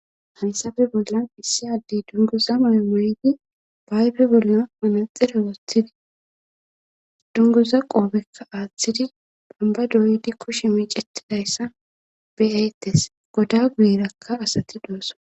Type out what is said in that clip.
Ha misileppe bollan issi addey dungoza moy moyzi ba bebeayfe bollan manaxere wothidi dunguza qoobekka aaththidi bamba doydi kushi miicetidayssa beyaytes goda guyirakka asati doosso.